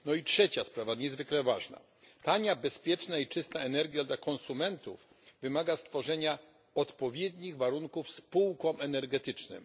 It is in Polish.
No i trzecia sprawa niezwykle ważna tania, bezpieczna i czysta energia dla konsumentów wymaga stworzenia odpowiednich warunków spółkom energetycznym.